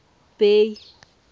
bay